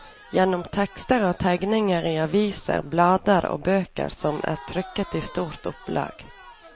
Gjennom tekster og tegninger i aviser, blader og bøker som er trykket i store opplag.